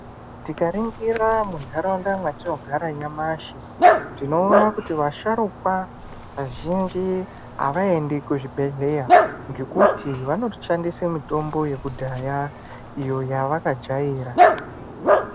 Tikaringira muntharaunda mwatinogara nyamashi tinoona kuti vasharuka vazhinji havaendi kuzvibhedhleya ngokuti vanoshandisa mitombo yekudhaya iyo yavakajaira.